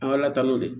An ka alatanu de don